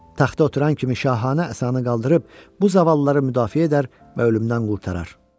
Taxta oturan kimi şahanə əsanı qaldırıb bu zavallıları müdafiə edər və ölümdən qurtarar.